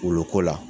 Wuluko la